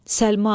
Səlma!